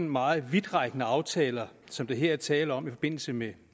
meget vidtrækkende aftaler som der her er tale om i forbindelse med